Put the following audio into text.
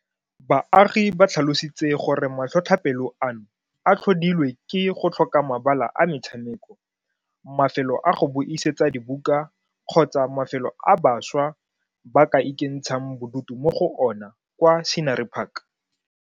Baagi ba tlhalositse gore matlhotlhapelo ano a tlhodilwe ke go tlhoka mabala a metshameko, mafelo a go buisetsa dibuka kgotsa mafelo a bašwa ba ka ikentshang bodutu mo go ona kwa Scenery Park.